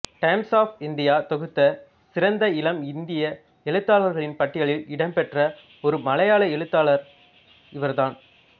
times of India தொகுத்த சிறந்த இளம் இந்திய எழுத்தாளர்களின் பட்டியலில் இடம் பெற்ற ஒரே மலையாள எழுத்தாளர் இவர்தான்